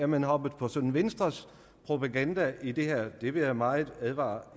man hoppet på venstres propaganda i det her det vil jeg meget advare